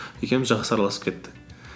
екеуміз жақсы араласып кеттік